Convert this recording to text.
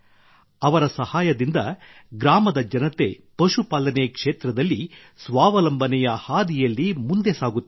ಅವರ ಸಹಾಯದಿಂದ ಗ್ರಾಮದ ಜನತೆ ಪಶು ಪಾಲನೆ ಕ್ಷೇತ್ರದಲ್ಲಿ ಸ್ವಾವಲಂಬನೆಯ ಹಾದಿಯಲ್ಲಿ ಮುಂದೆ ಸಾಗುತ್ತಿದ್ದಾರೆ